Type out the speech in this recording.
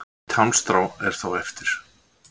Eitt hálmstrá er þó eftir.